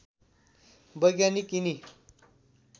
वैज्ञानिक यिनी